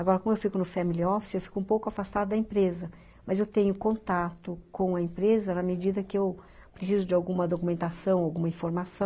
Agora, como eu fico no family office, eu fico um pouco afastada da empresa, mas eu tenho contato com a empresa na medida que eu preciso de alguma documentação, alguma informação,